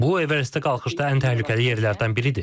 Bu Everestə qalxışda ən təhlükəli yerlərdən biridir.